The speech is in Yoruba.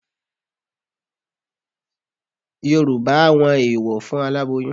Yorùbá àwọn eèwọ̀ fún aláboyún